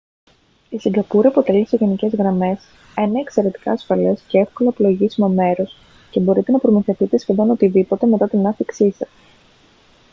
η σιγκαπούρη αποτελεί σε γενικές γραμμές ένα εξαιρετικά ασφαλές και εύκολα πλοηγήσιμο μέρος και μπορείτε να προμηθευτείτε σχεδόν οτιδήποτε μετά την άφιξή σας